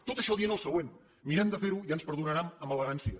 tot això dient el següent mirem de fer ho i ja ens perdonaran amb elegància